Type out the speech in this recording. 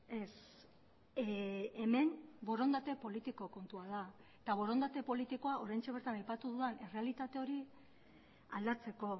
ez hemen borondate politiko kontua da eta borondate politikoa oraintxe bertan aipatu dudan errealitate hori aldatzeko